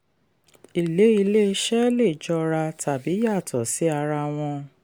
èlé ilé-iṣẹ́ lè jọra tàbí yàtọ̀ sí ara wọn.